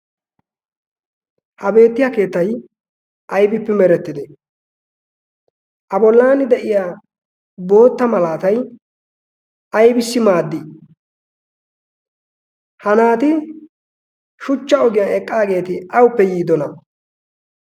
ha beettiyaa keettay aybippe merettidee? a bollan de"iyaa bootta maalatay aybisi maaddii? ha naati shuchcha ogiyaan eqqaageti awuppe yiidoona?